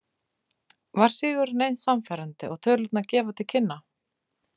Var sigurinn eins sannfærandi og tölurnar gefa til kynna?